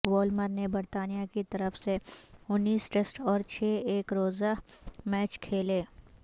Woolmer نے برطانیہ کی طرف سے انیس ٹیسٹ اور چھ ایک روزہ میچ کھیلے